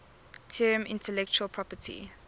term intellectual property